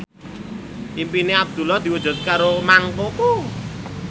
impine Abdullah diwujudke karo Mang Koko